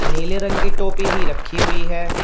नीले रंग की टोपी भी रखी हुई है।